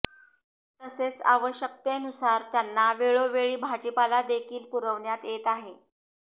तसेच आवश्यकतेनुसार त्यांना वेळोवेळी भाजीपाला देखील पुरविण्यात येत आहे